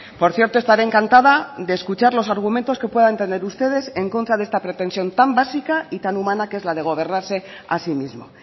por cierto estaré encantada de escuchar los argumentos que puedan tener ustedes en contra de esta pretensión tan básica y tan humana que es la de gobernarse a sí mismo